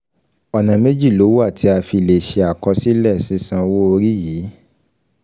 Ọ̀nà méjì ló wà tí a fi lè ṣe akosílè sisan owo ori yi